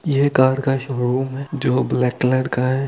यह कार का शोरूम है जो ब्लैक कलर का है।